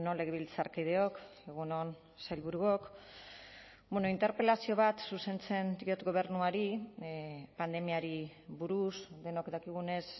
legebiltzarkideok egun on sailburuok bueno interpelazio bat zuzentzen diot gobernuari pandemiari buruz denok dakigunez